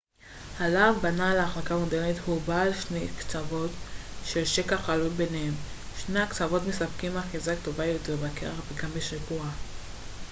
הלהב בנעל החלקה מודרנית הוא בעל שני קצוות עם שקע חלול בניהם שני הקצוות מספקים אחיזה טובה יותר בקרח גם בשיפוע